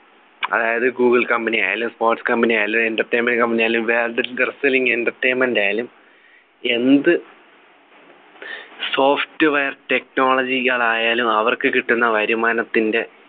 അതായത് google company ആയാലും sports company ആയാലും entertainment company ആയാലും വേറെന്തെലും entertainment ആയാലും എന്ത് software technology കൾ ആയാലും അവർക്ക് കിട്ടുന്ന വരുമാനത്തിൻ്റെ